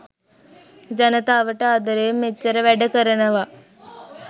ජනතාවට ආදරයෙන් මෙච්චර වැඩ කරනවා